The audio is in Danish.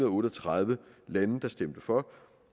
og otte og tredive lande der stemte for